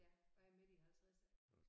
Ja og jeg midt i halvtredserne